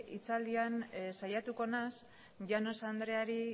hitzaldian saiatuko naiz llanos andreari